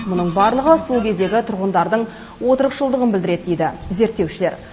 мұның барлығы сол кездегі тұрғындардың отырықшылдығын білдіреді дейді зерттеушілер